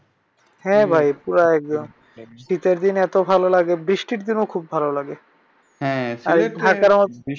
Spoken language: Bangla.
হ্যাঁ ভাই পুরা একদম সিলেটে এত ভালো লাগে বৃষ্টির দিনও অনেক ভালো লাগে।